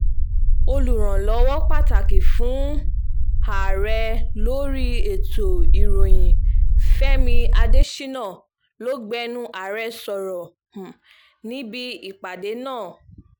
olùrànlọ́wọ́ pàtàkì fún um ààrẹ lórí ètò ìròyìn fẹmi adésínà ló gbẹnu ààrẹ sọ̀rọ̀ um níbi ìpàdé náà